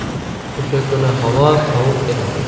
O‘sha kuni havo sovuq edi.